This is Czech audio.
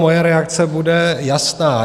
Moje reakce bude jasná.